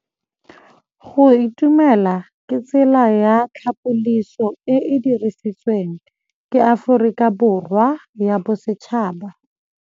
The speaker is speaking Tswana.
Go itumela ke tsela ya tlhapolisô e e dirisitsweng ke Aforika Borwa ya Bosetšhaba.